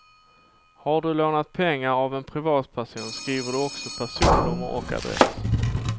Har du lånat pengar av en privatperson skriver du också personnummer och adress.